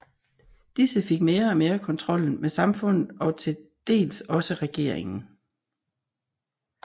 Disse fik mere og mere kontrollen med samfundet og til dels også regeringen